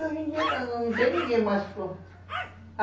Hoje em dia não tem ninguém mais.